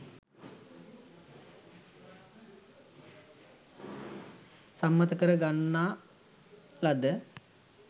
සම්මත කර ගන්නා ලද